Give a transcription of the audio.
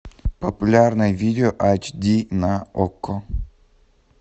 популярное видео ач ди на окко